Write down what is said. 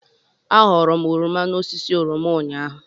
Aghọrọ m oroma n'osisi oroma ụnyaahụ.